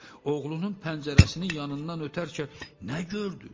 Oğlunun pəncərəsinin yanından ötərkən nə gördü?